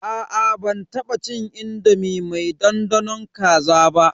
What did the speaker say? Aa ban taba cin indomi mai dandanon kaza ba.